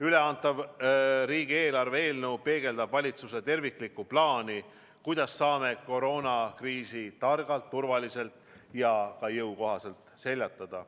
Üleantav riigieelarve eelnõu peegeldab valitsuse terviklikku plaani, kuidas saame koroonakriisi targalt, turvaliselt ja ka jõukohaselt seljatada.